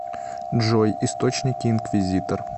джой источники инквизитор